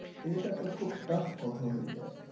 এটা তো খুব taff কথা হয়ে যায়